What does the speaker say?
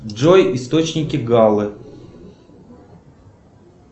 джой источники галлы